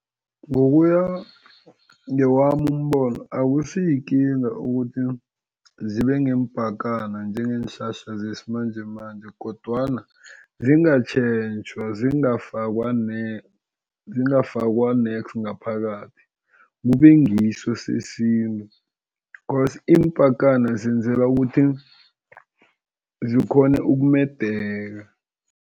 Ngokuya ngewami umbono, akusiyikinga ukuthi zibe ngeempakana njengeenhlahla zesimanjemanje, kodwana zingatjhentjhwa zingafakwa zingafakwa nex ngaphakathi kube ngiso sesintu cause iimpakana zenzelwa ukuthi zikghone ukumedaka.